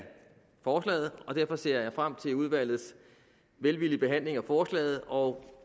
forslaget og derfor ser jeg frem til udvalgets velvillige behandling af forslaget og